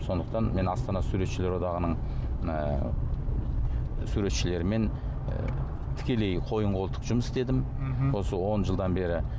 сондықтан мен астана суретшілер одағының ы суретшілерімен і тікелей қойын қолтық жұмыс істедім мхм осы он жылдан бері